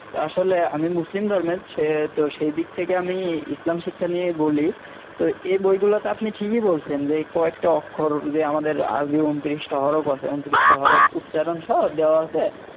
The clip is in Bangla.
তা আসলে আমি মুসলিম ধর্মের সে তো সেই দিক থেকে আমি ইসলাম শিক্ষা নিয়েই বলি তো এই বই গুলোতে আপনি ঠিকই বলছেন যে কয়েকটা অক্ষর যে আমাদের আরবি ঊনত্রিশ তা হরফ আছে ঊনত্রিশটা হরফ উচ্চারণ সহ দেওয়া আছে